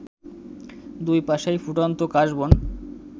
দুই পাশেই ফুটন্ত কাশবন